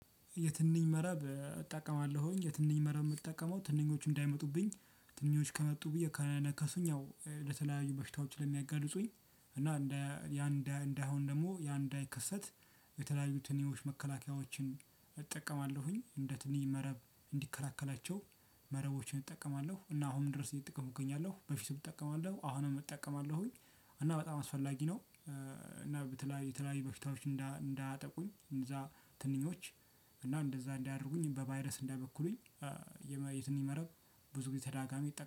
የትንኝ መረብ እጠቀማለሁኝ የትንኝ መረብ የምጠቀመው ትንኞቹ እንዳይመጡብኝ ትንኞቹ ከመጡ ብዬ ከነከሱኝ ያው ለተለያዩ በሽታዎች ለሚያጋልጡኝ። እና እንደ ያን እንደ አሁን ደግሞ ያን እንዳይከሰት። ትንኞች መከላከያዎችን እጠቀማለሁኝ እንደ ትንኝ መረብ እንዲከላከላቸው። መረቦችን እጠቀማለሁ እና አሁንም ድረስ እየተጠቀምኩ እገኛለሁ በፊቱም እጠቀማለሁ አሁንም እጠቀማለሁኝ። እና በጣም አስፈላጊ ነው። እና በተለይ የተለያዩ በሽታዎች እንዳያጠቁኝ እንነዛ ትንኞች እና እንደዛ እንዳያደርጉኝ በቫይረስ እንዳይበክሉኝ። የትንኝ መረብ ብዙ ጊዜ ተደጋጋሚ